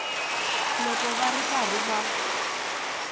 loko va ri karhi va